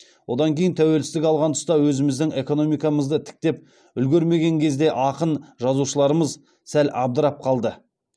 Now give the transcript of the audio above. одан кейін тәуелсіздік алған тұста өзіміздің экономикамызды тіктеп үлгермеген кезде ақын жазушыларымыз сәл абдырап қалды